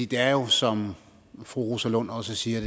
det er jo som fru rosa lund også siger